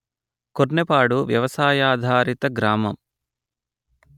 కొర్నెపాడు వ్యపసాయాధారిత గ్రామం